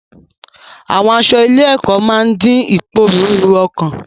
Àwọn aṣọ ilé-ẹ̀kọ́ máa ń dín ìpòrúru ọkàn.